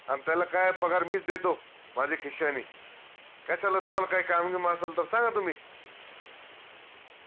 अन त्याला काय पगार मीच देतो माझ्या खिश्यानी कश्याला तुम्हाला काही काम गिम असलं तर सांगा तुम्ही